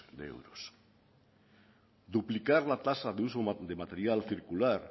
de euros duplicar la tasa de uso de material circular